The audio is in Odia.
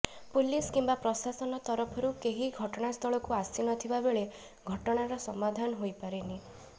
ପୁଲିସ୍ କିମ୍ବା ପ୍ରଶାସନ ତରଫରୁ କେହି ଘଟଣାସ୍ଥଳକୁ ଆସି ନ ଥିବା ବେଳେ ଘଟଣାର ସମାଧାନ ହୋଇପାରିନି